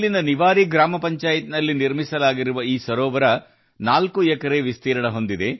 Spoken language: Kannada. ನಿವಾರಿ ಗ್ರಾಮ ಪಂಚಾಯಿತಿ ವ್ಯಾಪ್ತಿಯಲ್ಲಿ ನಿರ್ಮಾಣವಾಗಿರುವ ಈ ಕೆರೆ 4 ಎಕರೆ ವಿಸ್ತೀರ್ಣ ಹೊಂದಿದೆ